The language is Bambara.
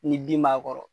Ni bin b'a kɔrɔ